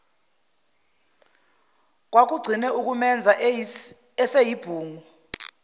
kwakugcine ukumenza eseyibhungu